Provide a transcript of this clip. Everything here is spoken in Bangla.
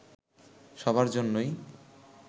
সবার জন্যই